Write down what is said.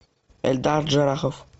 эльдар джарахов